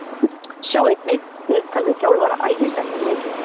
Sjá einnig: Viðtal við þjálfara Ægis eftir leikinn